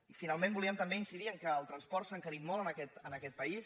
i finalment volíem també incidir en el fet que el transport s’ha encarit molt en aquest país